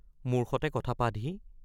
মোৰ সতে কথা পাতহি।